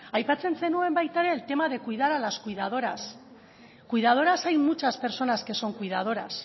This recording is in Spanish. aipatzen zenuen baita ere el tema de cuidar a las cuidadoras cuidadoras hay muchas personas que son cuidadoras